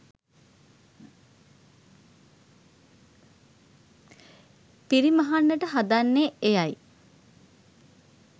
පිරිමහන්නට හදන්නේ එයයි.